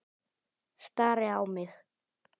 Stari á mig.